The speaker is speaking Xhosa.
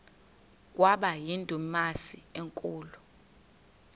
kwaba yindumasi enkulu